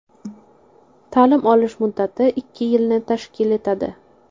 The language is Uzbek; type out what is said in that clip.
Ta’lim olish muddati ikki yilni tashkil etadi.